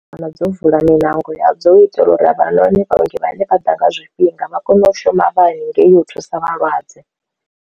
Dzo vula miṋango ya dzo itelwa uri avhanoni vhaongi vhane vha ḓa nga zwifhinga vha kone u shuma vha haningei u thusa vhalwadze.